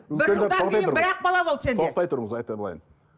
бір жылдан кейін бір ақ бала болады сенде тоқтай тұрыңыз айтып алайын